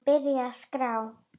Hann byrjar að skrá.